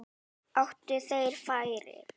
Áttu þeir færi?